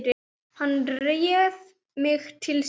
Hann réði mig til sín.